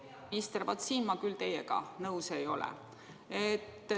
Hea peaminister, vaat siin ma küll teiega nõus ei ole.